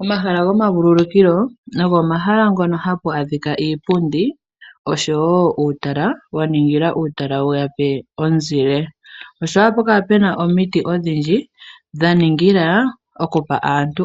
Omahala gomavululukilo ogo omahala ngono hapu adhika uupundi, oshowo uutala, waningila uutala yeyape omuzile, ohapu kala pena wo omiti odhindji, dhaningila okupa aantu